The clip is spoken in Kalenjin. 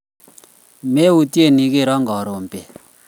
meutie ikero karon beet